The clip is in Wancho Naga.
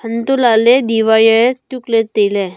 hanto lahle diwaye tukle taile.